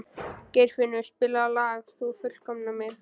Geirfinnur, spilaðu lagið „Þú fullkomnar mig“.